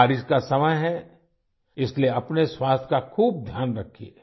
बारिश का समय है इसलिए अपने स्वास्थ्य का खूब ध्यान रखिये